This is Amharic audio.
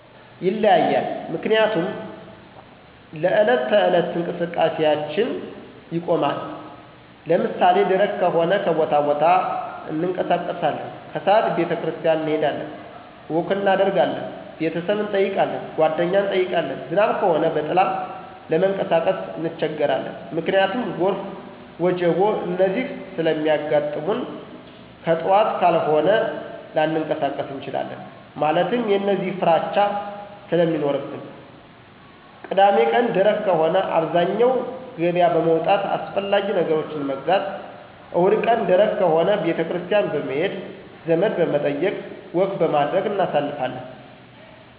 ይለያያል ምክንያቱም ለዕለት ተዕለት እንቀስቃሴአችን ይቆማን። ለምሳሌ ደረቅ ከሆነ ከቦታቦታ እንቀሳቀሳለን። ከስዓት ቤተክርስቲያን እንሄዳለን፣ ወክ እናደርጋለን፣ ቤተሰብ እንጠይቃለን፣ ጓደኛ እንጠይቃለን። ዝናብ ከሆነ በጥላ ለመንቀሳቀስ እንቸገራለን። ምክንያቱም ጎርፍ፣ ወጀቦ፣ እነዚህ ስለሚያጋጥሙንከጥዋት ካልሆነ ላንቀሳቀስ እንችላለን። ማለትም የእነዚህ ፍራቻ ስለሚኖርብን። ቅዳሜቀን ደረቅ ከሆነ አብዛኛው ገበያ በመዉጣት አስፈላጊ ነገሮችን መግዛት። እሁድቀን ደረቅ ከሆነ ቤተክርስቲያን በመሄድ፣ ዘመድበመጠየቅ፣ ወክበማድረግ እናሳልፋለን።